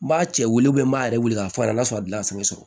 N b'a cɛ weele m'a yɛrɛ weele k'a f'a ɲɛna n'a sɔrɔ a gilan kosɛbɛ